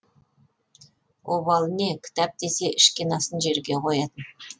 обалы не кітап десе ішкен асын жерге қоятын